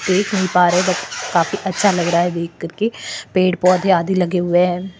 देख नहीं पा रहे काफी अच्छा लग रहा है देख करके पेड़ पौधे आदि लगे हुए है।